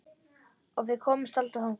Og við komumst aldrei þangað.